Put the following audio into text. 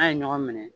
N'a ye ɲɔgɔn minɛ